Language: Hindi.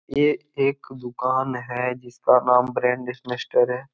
ये एक दुकान है जिसका नाम ब्रांड है।